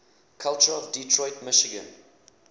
culture of detroit michigan